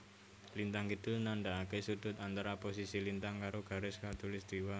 Lintang kidul nandaake sudut antara posisi lintang karo garis Katulistwa